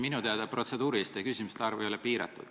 Minu teada protseduuriliste küsimuste arv ei ole piiratud.